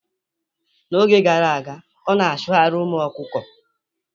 N'oge gara aga, ọ na-achụgharị ụmụ ọkụkọ